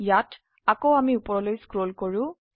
ইয়াত আকৌ আমি উপৰলৈ স্ক্ৰল কৰো